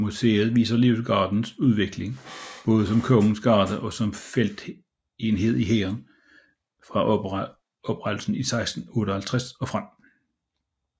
Museet viser Livgardens udvikling både som kongens garde og som feltenhed i hæren fra oprettelsen i 1658 og frem